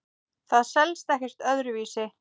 Það selst ekkert öðru vísi.